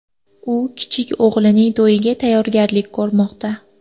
U kichik o‘g‘lining to‘yiga tayyorgarlik ko‘rmoqda.